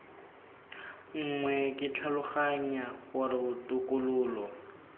nngwe ke tlhaloganya gore botokololo